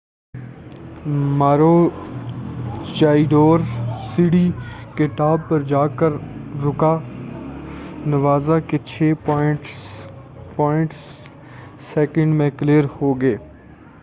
Maroochydore سیڑھی کے top پر جا کر رکا نوزا کے چھے پوائنٹ سیکنڈ میں کلیر ہو گئے